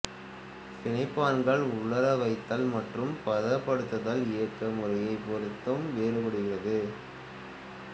பிணைப்பான்கள் உலர வைத்தல் மற்றும் பதப்படுத்துதல் இயக்க முறையைப் பொறுத்தும் வேறுபடுகிறது